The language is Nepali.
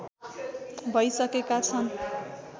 भइसकेका छन्